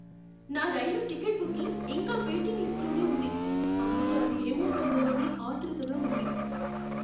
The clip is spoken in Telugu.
నా రైలు టికెట్ బుకింగ్ ఇంకా వెయిటింగ్ లిస్ట్లోనే ఉంది అందుకే అది ఏమవుతుందోనని ఆత్రుతగా ఉంది.